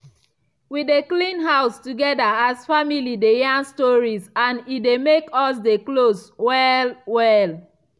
we dey clean house together as family dey yarn stories and e dey make us dey close well-well.